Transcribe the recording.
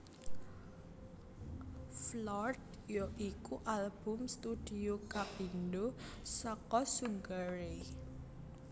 Floored ya iku album studio kapindho saka Sugar Ray